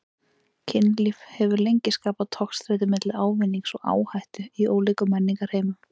Kynlíf hefur lengi skapað togstreitu milli ávinnings og áhættu í ólíkum menningarheimum.